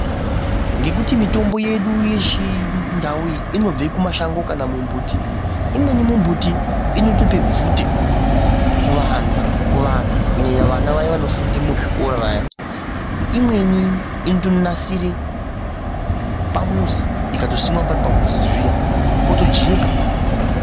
Ngekuti mitombo yedu yechindau iyi inobve kumashango kana mumbuti imweni mimbuti inotope bvute kuvana kunyanya vana vaya vanofunde muzvikora vaya, imweni inotonasire pamuzi ikatosimwa pari pamuzi zviya potojeka.